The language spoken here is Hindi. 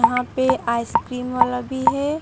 हां पे आइसक्रीम वाला भी है।